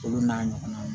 Olu n'a ɲɔgɔnnaw